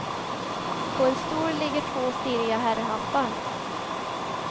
På en stol ligger två stiliga herrhattar.